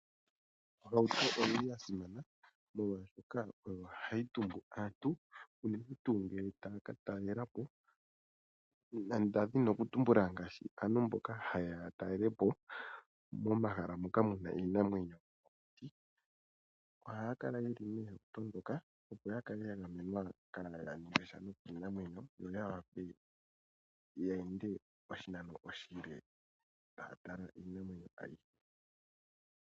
Ohauto oya simana, molwashoka oyo hayi tumbu aantu uuna taya ka talela po, ngaashi aantu mboka haye ya ya talele po momahala moka mu na iinamwenyo. Ohaya kala ye li mehauto moka, opo ya kale ya gamenwa kaaya ningwesha kiinamwenyo yo ya wape ye ende oshinano oshile taya tala iinamwenyo ayihe.